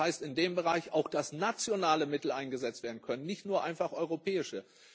Das heißt in dem Bereich auch, dass nationale Mittel eingesetzt werden können, nicht nur einfach europäische.